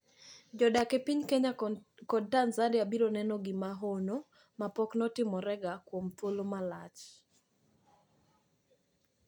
Jodak e piny Kenya kod Tanzania biro neno gino mahono mapoknotimorega kuom thuolo malach.